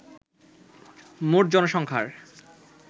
মোট জনসংখ্যার